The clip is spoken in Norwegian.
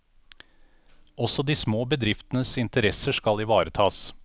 Også de små bedriftenes interesser skal ivaretas.